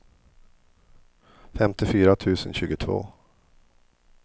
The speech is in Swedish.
femtiofyra tusen tjugotvå